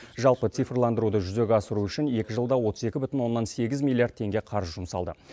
жалпы цифрландыруды жүзеге асыру үшін екі жылда отыз екі бүтін оннан сегіз миллиард теңге қаржы жұмсалды